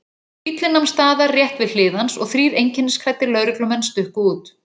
Bíllinn nam staðar rétt við hlið hans og þrír einkennisklæddir lögreglumenn stukku út.